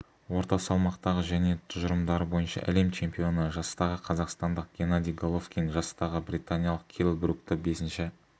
орта салмақтағы және тұжырымдары бойынша әлем чемпионы жастағы қазақстандық геннадий головкин жастағы британиялық келл брукті бесінші